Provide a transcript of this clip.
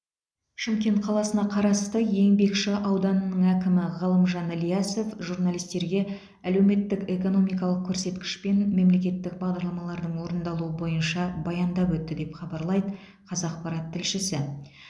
шымкент қаласына қарасты еңбекші ауданының әкімі ғалымжан ильясов журналистерге әлеуметтік экономикалық көрсеткіш пен мемлекеттік бағдарламалардың орындалуы бойынша баяндап өтті деп хабарлайды қазақпарат тілшісі